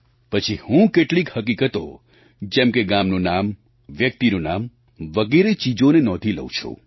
પછી હું કેટલીક હકીકતો જેમ કે ગામનું નામ વ્યક્તિનું નામ વગેરે ચીજોને નોંધી લઉં છું